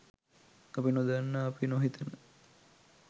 අපි නොදන්න අපි නොහිතන